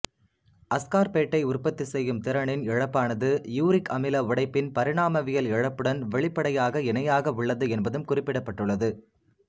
அஸ்கார்பேட்டை உற்பத்தி செய்யும் திறனின் இழப்பானது யூரிக் அமில உடைப்பின் பரிணாமவியல் இழப்புடன் வெளிப்படையாக இணையாக உள்ளது என்பதும் குறிப்பிடப்பட்டுள்ளது